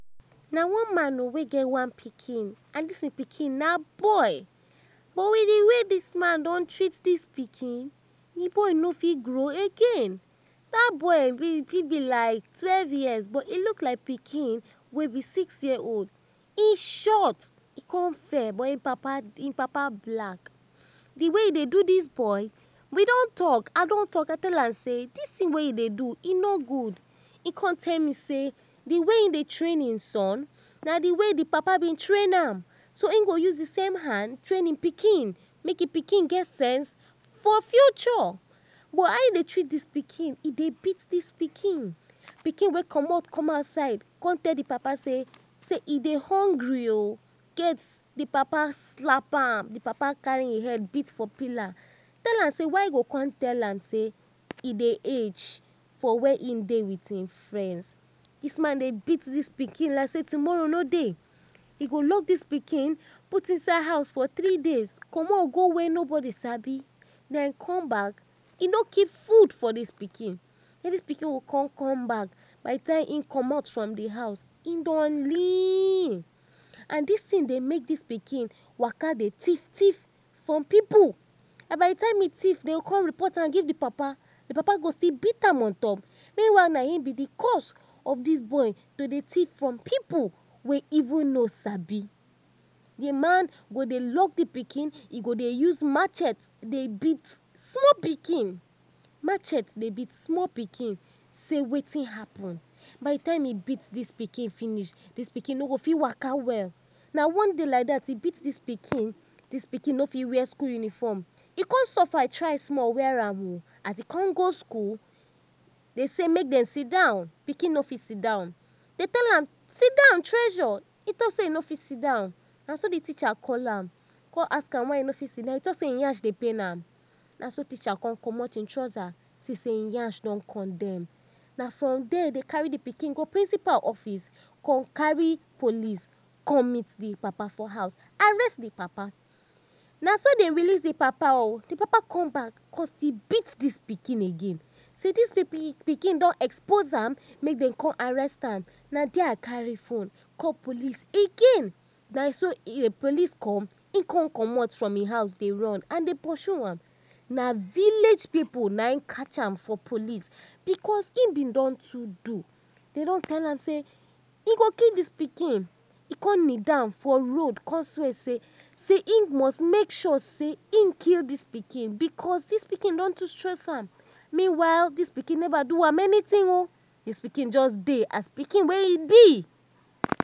Na one man wey gey pikin oh, and dis pikin na boy, but with d way dis man don treat dis pikin, d boy no fit grow again, dat boy fit be like twelve years, but e look like pikin wey b six years old, he short, he con fair buh hin papa black. D way wey he dey do dis boy, we don talk, I don talk I tell am sey dis thing wey u dey do dis boy e no good, he con tell me sey d way he train hin son na d way hin papa train am, so hin go use d same hand tarin hin pikin, make hin pikin get sense for future, but how e dey treat dis pikin, he dey beat dis pikin, pikin wey comot come outside, con tell d papa sey hin dey hungry o, d papa slap am, d papa carry hin head hit for pillar, tell am sey why hin go con tell am sey hin dey hech for where hin dey with hin friends, dis man dey beat dis pikin like sey tomorrow no dey, e go lock dis pikin put inside house for three days comot go wey no bodi sabi, den come back, he no keep food for dis pikin, dis pikin go con come back, by d time hin comot for d house hin don lin, and dis thing dey make dis pikin waka dey thief thief from pipu, and by d time hin thief dem go con report am give d papa, d papa go still beat am on top, meanwhile nah in b d cause of dis boy to dey thief from pipu wey hin no sabi. D man go dey lock d pikin, he go dey use machete dey beat small pikin, machete dey beat small pikin sey wetin happen, by d time he beat dis pikin finish, dis pikin no go fit waka well, na one day like dat he beat dis pikin, dis pikin no fit wear school uniform, hin con suffer try small wear am o, as he con go school dem con say make dem sidon, pikin no fit sidon, dem tell am sidon treasure, he no fit sidon, naso d teacher call am ask am why he no fit sidon, he say hin nyash dey pain am, naso d teacher con comot hin trouser con see sey hin nyash don condem, na from there dem carry d pikin go principal office con carry police con meet d papa for house, arrest d papa, naso dem release d papa, d papa come back con beat dis pikin again sey dis pikin don expose am make dem con arrest am, na there I carry phone call police again, na so police come hin con comot from hin house dey run, and dey purse am na village pipu nah in catch am for police because hin bin don too do, dem don tell am sey hin go kill dis pikin, he con kneel down for road con swear say hin must make sure say hin kill dis pikin because dis pikin don too stress am, meanwhile, dis pikin never do am anything o dis pikin just dey as pikin wey hin be.